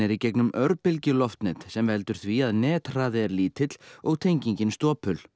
í gegnum örbylgjuloftnet sem veldur því að er lítill og tengingin stopul